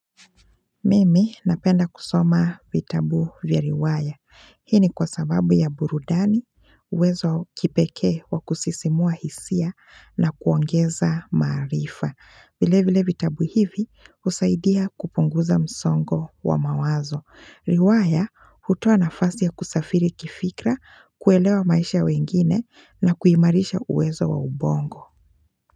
Mimi, napenda kusoma vitabu vya riwaya. Hii ni kwa sababu ya burudani uwezo wa kipekee wa kusisimua hisia na kuongeza maarifa. Vile vile vitabu hivi husaidia kupunguza msongo wa mawazo. Riwaya hutoa nafasia ya kusafiri kifikra, kuelewa maisha ya wengine na kuimarisha uwezo wa ubongo.